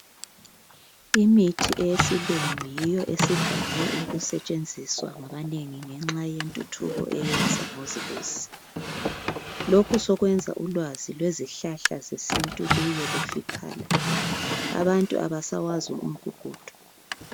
Imithi eyesilungu yiyo esivame ukusetshenziswa ngabanengi ngenxa yentuthuko eyeza ngozibuse. Lokhu sokwenza ulwazi lwezihlahla zesintu luye lufiphala, abantu abasawazi umgugudu.